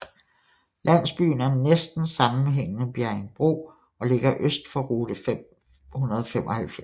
Landsbyen er næsten sammenhængende med Bjerringbro og ligger øst for rute 575